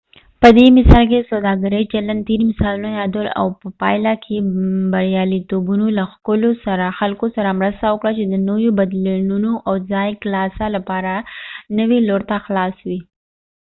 په دې مثال کې د سوداګرۍ چلند تیر مثالونه یادول او په پايله کې بریالیتوبونو له خلکو سره مرسته وکړه چې نويو بدلونونو او د ځایي کلیسا لپاره نوي لور ته خلاص وي